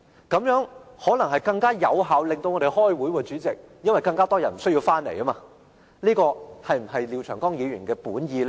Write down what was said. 這樣可能會更有效令我們開會，代理主席，因為更多人不需要回來，這是否廖長江議員的本意？